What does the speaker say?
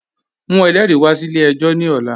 Mu ẹlẹri wà sí ilẹ̀-ẹ̀jọ ni ọ̀là